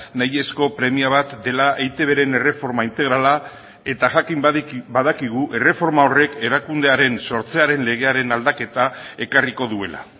nahiezko premia bat dela eitbren erreforma integrala eta jakin badakigu erreforma horrek erakundearen sortzearen legearen aldaketa ekarriko duela